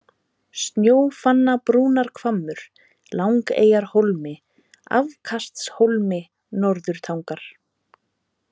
Snjófannabrúnarhvammur, Lyngeyjarhólmi, Afkastshólmi, Norðurtangar